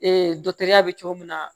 ya be cogo min na